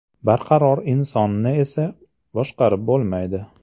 Barqaror insonni esa boshqarib bo‘lmaydi.